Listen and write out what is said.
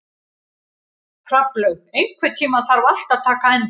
Hrafnlaug, einhvern tímann þarf allt að taka enda.